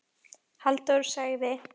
Halldór sagði: